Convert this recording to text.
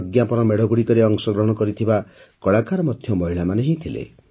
ପ୍ରଜ୍ଞାପନ ମେଢ଼ଗୁଡ଼ିକରେ ଅଂଶଗ୍ରହଣ କରିଥିବା କଳାକାର ମଧ୍ୟ ମହିଳାମାନେ ହିଁ ଥିଲେ